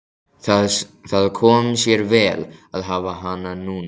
Það kom sér vel að hafa hana núna.